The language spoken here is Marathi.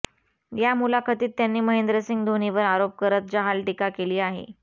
या मुलाखतीत त्यांनी महेंद्रसिंग धोनीवर आरोप करत जहाल टीका केली आहे